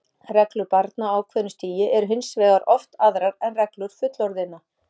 Reglur barna á ákveðnu stigi eru hins vegar oft aðrar en reglur fullorðinna.